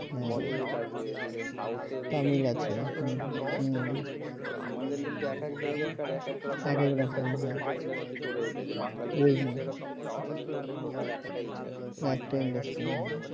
বলিউড আছে এদিকে south industry আছে তামিল আছে তো আমাদের কিন্তু এক এক জায়গা কার এক এক রকমের ছোট ছোট industry গড়ে উঠেছে বাংলাদেশে কিন্তু এরকম নেই বাংলাদেশের ওখানে total একটাই industry একটাই industry হ্যাঁ